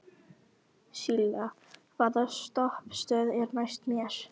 Silla, hvaða stoppistöð er næst mér?